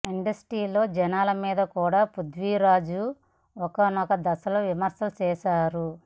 ఇండస్ట్రీలో జనాల మీద కూడా పృథ్వి ఒకానొక దశలో విమర్శలు చేసారు